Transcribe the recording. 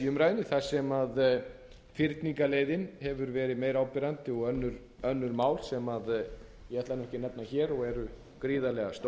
umræðunni þar sem fyrningarleiðin hefur verið meira áberandi og önnur mál sem ég ætla ekki að nefna hér og eru gríðarlega stór